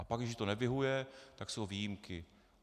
A pak, když to nevyhovuje, tak jsou výjimky.